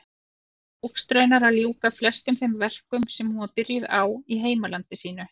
Tókst raunar að ljúka flestum þeim verkum sem hún var byrjuð á í heimalandi sínu.